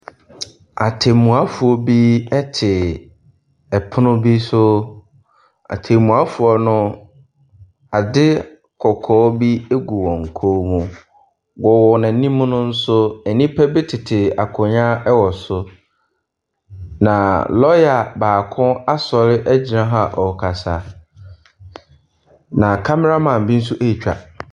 Atemmuafoɔ bi te ɛpono bi so. Atemmuafoɔ no, ade kɔkɔɔ bi gu wɔn kɔn mu. Wɔn anim no nso, nnipa bi tete akonnwa wɔ so. Na lɔɔya baako asɔre agyina hɔ a ɔrekasa. Na kamaraman bi nso retwwa.